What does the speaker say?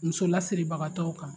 Muso lasiribagatɔw kan